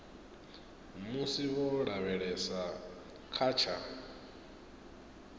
musi vho lavhelesa kha tsha